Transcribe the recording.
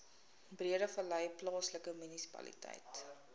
breedevallei plaaslike munisipaliteit